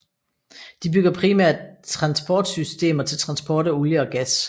De bygger primært transportsystemer til transport af olie og gas